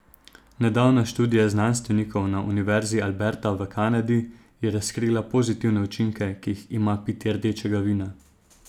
Nedavna študija znanstvenikov na univerzi Alberta v Kanadi je razkrila pozitivne učinke, ki jih ima pitje rdečega vina.